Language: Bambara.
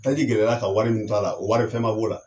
Taji gɛlɛya la ka wari min to a la o wari fɛn man b'o la.